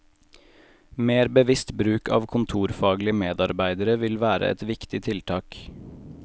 Mer bevisst bruk av kontorfaglige medarbeidere vil være ett viktig tiltak.